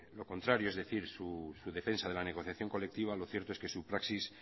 lo contrario es decir su defensa de la negociación colectiva lo cierto es que su praxis